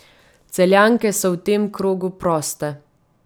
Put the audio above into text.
Celjanke so v tem krogu proste.